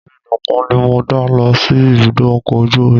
Èmi nìkan ni mo dá lọ sí ibùdó ọkọ̀ ojú omi